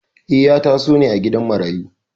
Eh, ya taso ne a gidan marayu.